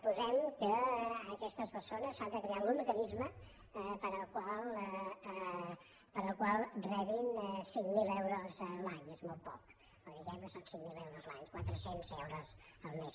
posem que aquestes persones s’ha de crear algun mecanisme pel qual rebin cinc mil euros l’any és molt poc però diguem que són cinc mil euros l’any quatre cents el mes